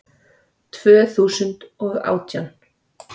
Tvö þúsund og átján